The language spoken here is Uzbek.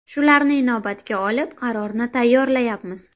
Shularni inobatga olib, qarorni tayyorlayapmiz.